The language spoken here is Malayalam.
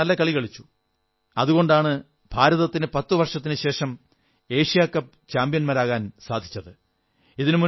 നമ്മുടെ കളിക്കാർ നല്ല കളി കളിച്ചു അതുകൊണ്ടാണ് ഭാരതത്തിന് പത്തു വർഷത്തിനുശേഷം എഷ്യാ കപ്പ് ചാമ്പ്യന്മാരാകാൻ സാധിച്ചത്